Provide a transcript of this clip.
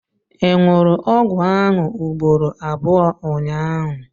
ị ṅụrụ ọgwụ ahụ ugboro abụọ ụnyaahụ?